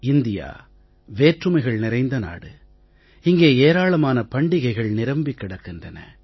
India வேற்றுமைகள் நிறைந்த நாடு இங்கே ஏராளமான பண்டிகைகள் நிரம்பிக் கிடக்கின்றன